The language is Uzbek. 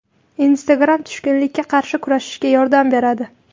Instagram tushkunlikka qarshi kurashishga yordam beradi.